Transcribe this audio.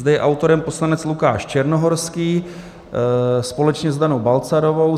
Zde je autorem poslanec Lukáš Černohorský společně s Danou Balcarovou.